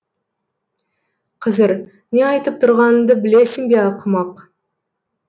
қызыр не айтып тұрғаныңды білесің бе ақымақ